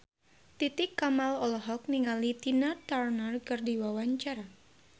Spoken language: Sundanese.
Titi Kamal olohok ningali Tina Turner keur diwawancara